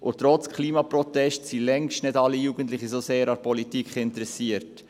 Trotz Klimaprotesten sind längst nicht alle Jugendlichen so sehr an Politik interessiert.